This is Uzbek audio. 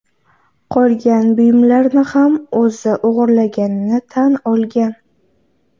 qolgan buyumlarni ham o‘zi o‘g‘irlaganini tan olgan.